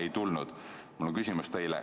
Ei tulnud.